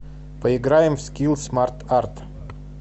поиграем в скилл смарт арт